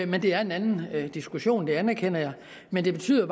men det er en anden diskussion det anerkender jeg men det betyder